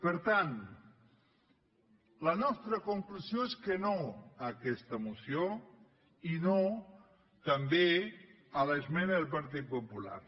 per tant la nostra conclusió és que no a aquesta moció i no també a l’esmena del partit popular